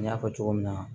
N y'a fɔ cogo min na